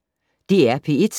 DR P1